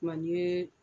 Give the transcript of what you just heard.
Ma ni ye